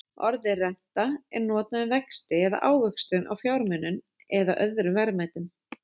Orðið renta er notað um vexti eða ávöxtun á fjármunum eða öðrum verðmætum.